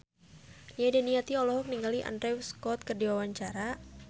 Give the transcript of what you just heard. Nia Daniati olohok ningali Andrew Scott keur diwawancara